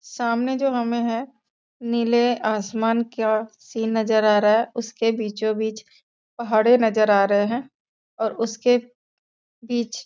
सामने जो हमें हैं नीले आसमान का सीन नज़र आ रहा हैं उसके बीचो बीच पहाड़े नज़र आ रहे हैं और उसके बीच --